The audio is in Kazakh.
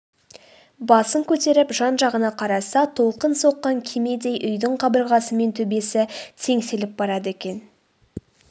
басын көтеріп жан-жағына қараса толқын соққан кемедей үйдің қабырғасы мен төбесі теңселіп барады екен